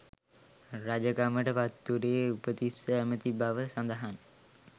රජකමට පත්වුණේ උපතිස්ස ඇමති බව සඳහන්.